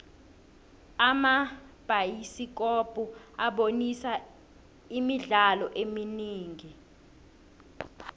amabhayisikopo abonisa imidlalo eminingi